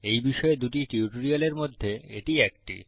এই বিষয়ে দুটি টিউটোরিয়ালের মধ্যে এটি একটি